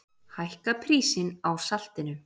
Hækka prísinn á saltinu!